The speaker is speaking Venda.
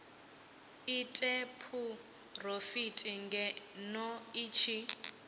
ite phurofiti ngeno i tshi